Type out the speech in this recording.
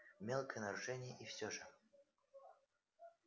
мелкое нарушение и все же